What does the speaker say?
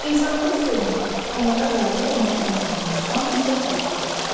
İnsanları sevmək, onlara qayğı və mərhəmətlə yanaşmaq müsbət keyfiyyətlərdir.